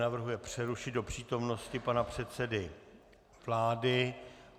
Navrhuje přerušit do přítomnosti pana předsedy vlády.